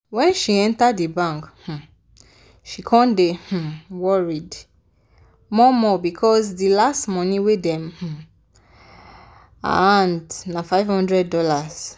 wen she enter di bank um she come dey um worried more-more becos di last money wey dey um her hand na $500.